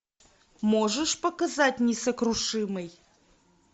можешь показать несокрушимый